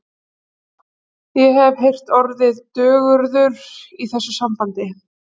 Ég hef heyrt orðið dögurður í þessu sambandi.